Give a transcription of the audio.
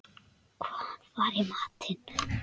Hvað var í matinn?